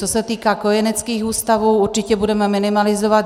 Co se týká kojeneckých ústavů, určitě budeme minimalizovat.